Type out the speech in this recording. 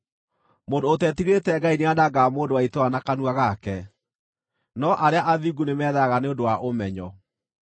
Mũndũ ũtetigĩrĩte Ngai nĩanangaga mũndũ wa itũũra na kanua gake, no arĩa athingu nĩmetharaga nĩ ũndũ wa ũmenyo.